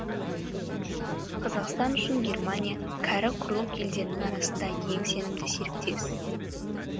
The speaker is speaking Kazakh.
қазақстан үшін германия кәрі құрлық елдерінің арасында ең сенімді серіктес